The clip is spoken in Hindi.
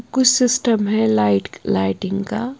कुछ सिस्टम है लाइट लाइटिंग का --